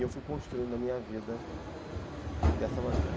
E eu fui construindo a minha vida dessa maneira.